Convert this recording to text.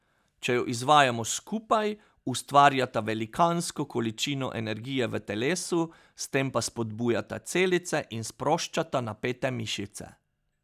Če ju izvajamo skupaj, ustvarjata velikansko količino energije v telesu, s tem pa spodbujata celice in sproščata napete mišice.